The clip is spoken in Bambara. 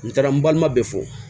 N taara n balima bɛɛ fɔ